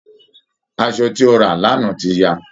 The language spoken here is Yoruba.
Asọ tí ó rà lánáá ti ya